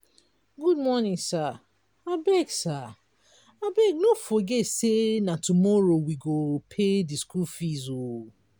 good morning sir abeg sir abeg no forget sey na tomorrow we go pay di skool fees. um